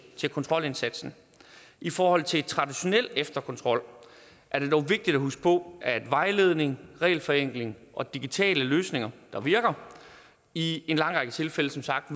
kontrolindsatsen i forhold til traditionel efterkontrol er det dog vigtigt at huske på at vejledning regelforenkling og digitale løsninger der virker i en lang række tilfælde som sagt